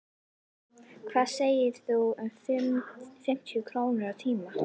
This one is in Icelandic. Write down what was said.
Hvað segirðu um fimmtíu krónur á tímann?